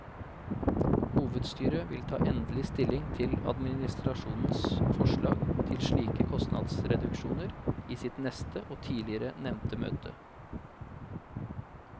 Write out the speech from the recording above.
Hovedstyret vil ta endelig stilling til administrasjonens forslag til slike kostnadsreduksjoner i sitt neste og tidligere nevnte møte.